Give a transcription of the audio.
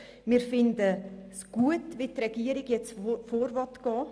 Wir finden gut, wie die Regierung nun vorgehen will.